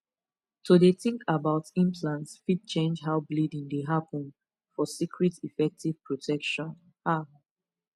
to dey think about implant fit change how bleeding dey happen for secret effective protection ah